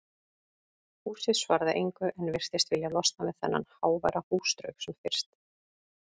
Húsið svaraði engu en virtist vilja losna við þennan háværa húsdraug sem fyrst.